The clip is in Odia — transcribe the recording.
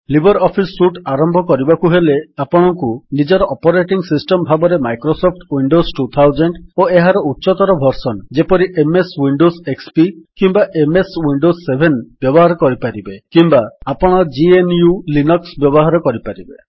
ଲିବର୍ ଅଫିସ୍ ସୁଟ୍ ଆରମ୍ଭ କରିବାକୁ ହେଲେ ଆପଣଙ୍କୁ ନିଜର ଅପରେଟିଙ୍ଗ୍ ସିଷ୍ଟମ୍ ଭାବରେ ମାଇକ୍ରୋସଫ୍ଟ ୱିଣ୍ଡୋସ୍ ୨୦୦୦ ଓ ଏହାର ଉଚ୍ଚତର ଭର୍ସନ୍ ଯେପରି ଏମଏସ୍ ୱିଣ୍ଡୋସ୍ ଏକ୍ସପି କିମ୍ୱା ଏମଏସ୍ ୱିଣ୍ଡୋସ୍ ୭ ବ୍ୟବହାର କରିପାରିବେ କିମ୍ୱା ଆପଣ GNUଲିନକ୍ସ ବ୍ୟବହାର କରିପାରିବେ